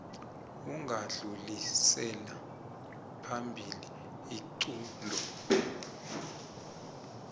ungadlulisela phambili isiqunto